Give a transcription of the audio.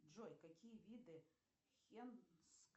джой какие виды